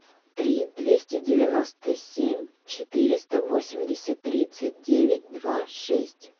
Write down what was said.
три двести девяносто семь четыреста восемьдесят тридцать девять два шесть